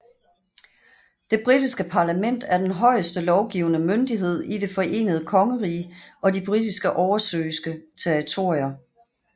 Det britiske parlament er den højeste lovgivende myndighed i Det forenede kongerige og de britiske oversøiske territorier